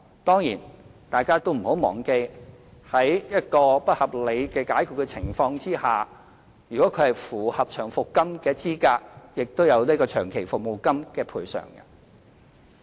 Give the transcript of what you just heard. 當然，大家不要忘記，僱員在遭不合理解僱的情況之下，如果符合領取長期服務金的資格，亦可獲得長期服務金。